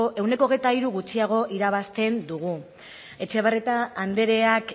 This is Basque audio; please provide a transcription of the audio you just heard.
ehuneko hogeita hiru gutxiago irabazten dugu etxebarrieta andreak